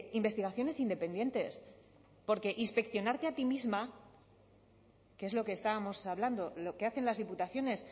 investigaciones independientes porque inspeccionarte a ti misma que es lo que estábamos hablando lo que hacen las diputaciones